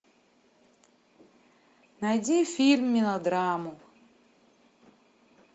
найди фильм мелодраму